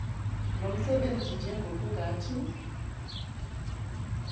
lo msebenzi njengokungathi